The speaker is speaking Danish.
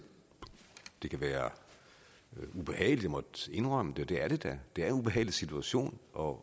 det kan være ubehageligt at måtte indrømme det det er det da det er en ubehagelig situation og